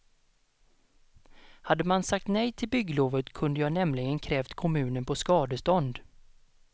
Hade man sagt nej till bygglovet kunde jag nämligen krävt kommunen på skadestånd.